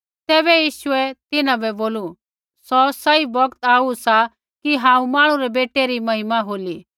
तैबै यीशु तिन्हां बै बोलू सौ सही बौगत आऊ सा कि हांऊँ मांहणु रै बेटै री महिमा होली